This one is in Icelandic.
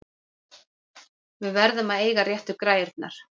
Við verðum að eiga réttu græjurnar!